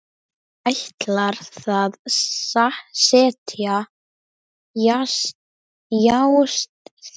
Ætlar að set jast þar.